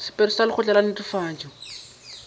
sephetho sa lekgotla la netefatšo